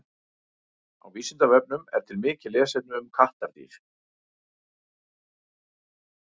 Á Vísindavefnum er til mikið lesefni um kattardýr.